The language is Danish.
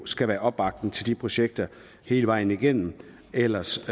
skal være opbakning til de projekter hele vejen igennem ellers